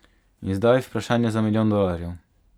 In zdaj vprašanje za milijon dolarjev.